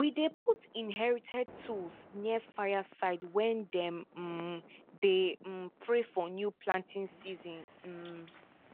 we dey put inherited tools near fire side when dem um dey um pray for new planting season um